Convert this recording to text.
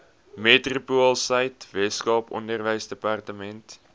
metropoolsuid weskaap onderwysdepartement